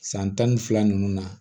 San tan ni fila nunnu na